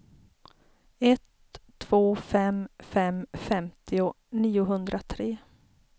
ett två fem fem femtio niohundratre